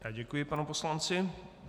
Já děkuji panu poslanci.